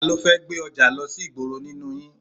Talọ́ fẹ́ gbé ọjà lọ sí ìgboro nínú yìí?